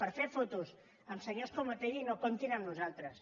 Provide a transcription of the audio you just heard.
per fer fotos amb senyors com otegi no comptin amb nosaltres